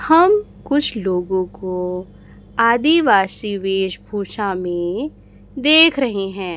हम कुछ लोगों को आदिवासी वेशभूषा में देख रहे हैं।